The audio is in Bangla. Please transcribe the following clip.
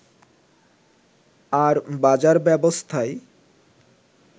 আর বাজার ব্যবস্থায়